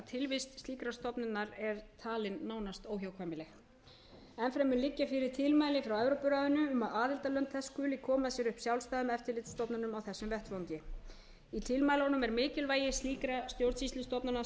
tilvist slíkrar stofnunar er talin nánast óhjákvæmileg enn fremur liggja fyrir tilmæli frá evrópuráðinu um að aðildarlönd þess skuli koma sér upp sjálfstæðum eftirlitsstofnunum á þessum vettvangi í tilmælunum er mikilvægi slíkra stjórnsýslustofnana